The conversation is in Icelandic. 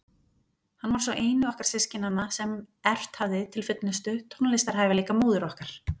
Hann var sá eini okkar systkinanna sem erft hafði til fullnustu tónlistarhæfileika móður okkar.